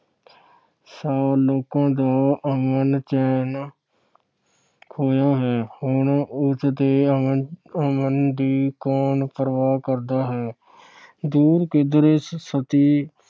ਸਾਲ ਲੋਕਾਂ ਦਾ ਅਮਨ-ਚੈਨ ਖੋਹਿਆ ਹੈ। ਹੁਣ ਉਸ ਦੇ ਅਮਨ ਅਹ ਅਮਨ ਦੀ ਕੌਣ ਪਰਵਾਹ ਕਰਦਾ ਹੈ। ਦੂਰ ਕਿਧਰੇ ਸਤਿ